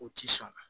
O ti sɔn